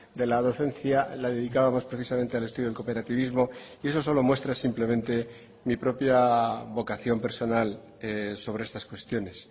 de la docencia la dedicábamos precisamente al estudio del cooperativismo y eso solo muestra simplementemi propia vocación personal sobre estas cuestiones